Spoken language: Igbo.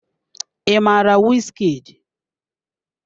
I mara Wizkid?